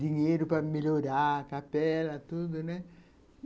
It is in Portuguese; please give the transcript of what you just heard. Dinheiro para melhorar, capela, tudo, né?